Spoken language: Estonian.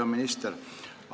Hea minister!